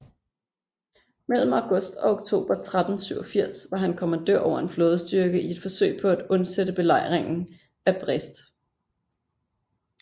Mellem august og oktober 1387 var han kommandør over en flådestyrke i et forsøg på at undsætte belejringen af Brest